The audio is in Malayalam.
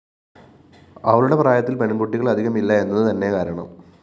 അവളുടെ പ്രായത്തില്‍ പെണ്‍കുട്ടികള്‍ അധികമില്ല എന്നതു തന്നെ കാരണം